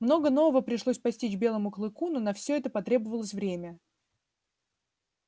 много нового пришлось постичь белому клыку но на всё это потребовалось время